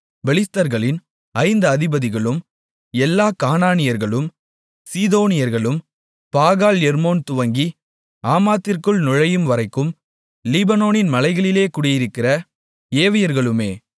பெலிஸ்தர்களின் ஐந்து அதிபதிகளும் எல்லா கானானியர்களும் சீதோனியர்களும் பாகால் எர்மோன் துவங்கி ஆமாத்திற்குள் நுழையும்வரைக்கும் லீபனோனின் மலைகளிலே குடியிருக்கிற ஏவியர்களுமே